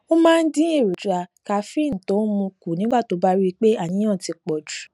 ó máa ń dín èròjà kaféènì tó ń mu kù nígbà tó bá rí i pé àníyàn ti pò jù